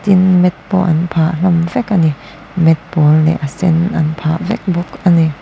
tin mat pawh an phah hlawm vek ani mat pawl leh a sen an phah hlawm vek ani.